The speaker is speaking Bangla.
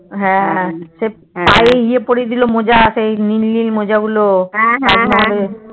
হ্যাঁ সেই পায়ে ইয়ে পরিয়ে দিলো মোজা সেই নীল নীল মোজাগুলো তাজমহলে